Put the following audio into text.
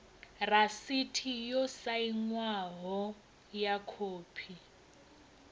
rasiti yo sainwaho ya khophi